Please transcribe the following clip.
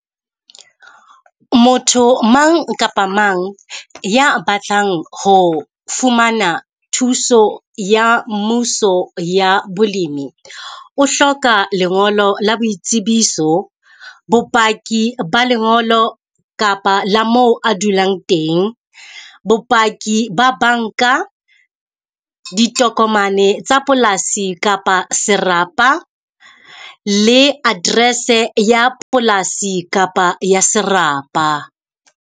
Motho mang kapa mang ya batlang ho fumana thuso ya mmuso ya bolemi. O hloka lengolo la boitsebiso, bopaki ba lengolo kapa la moo a dulang teng, bopaki ba banka. Ditokomane tsa polasi kapa serapa, le address-e ya polasi kapa ya serapa.